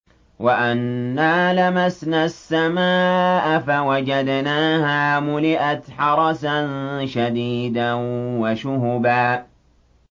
وَأَنَّا لَمَسْنَا السَّمَاءَ فَوَجَدْنَاهَا مُلِئَتْ حَرَسًا شَدِيدًا وَشُهُبًا